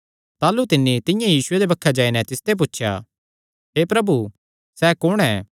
ताह़लू तिन्नी तिंआं ई यीशुये दे बक्खे जाई नैं तिसते पुछया हे प्रभु सैह़ कुण ऐ